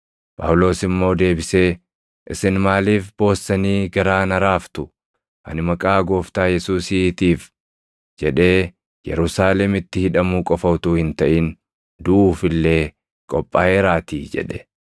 Phaawulos immoo deebisee, “Isin maaliif boossanii garaa na raaftu? Ani maqaa Gooftaa Yesuusiitiif jedhee Yerusaalemitti hidhamuu qofa utuu hin taʼin duʼuuf illee qophaaʼeeraatii” jedhe.